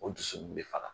O dusu bɛ faga